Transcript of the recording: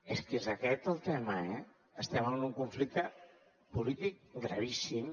és que és aquest el tema estem en un conflicte polític gravíssim